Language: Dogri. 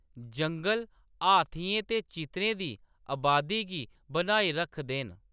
जंगल हाथियें ते चित्तरें दी अबादी गी बनाई रखदे न।